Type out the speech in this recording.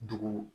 Dugu